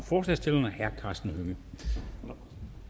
forslagsstillerne herre karsten hønge